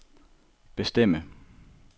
bestemme